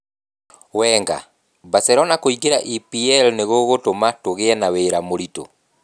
Wenger: Barcelona kũingĩra EPL nĩ gũgũtũma tũgĩe na wĩra mũritũ